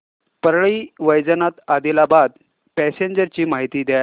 Parli Vaijnath Adilabad passenger ची माहिती द्या